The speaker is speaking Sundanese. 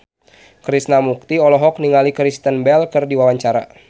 Krishna Mukti olohok ningali Kristen Bell keur diwawancara